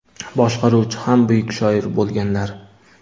boshqaruvchi ham buyuk shoir bo‘lganlar.